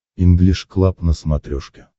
инглиш клаб на смотрешке